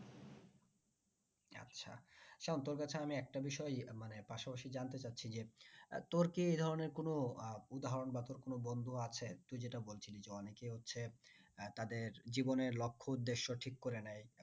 সায়ন তোর কাছে আমি একটা বিষয় পাশাপাশি জানতে চাচ্ছি যে তোর কি এই ধরনের কোনো আহ উদাহরন বা তোর কোনো বন্ধু আছে তুই যেটা বলছিলি যে অনেকে হচ্ছে তাদের জীবনের লক্ষ্য উদ্দেশ্য ঠিক করে নেয়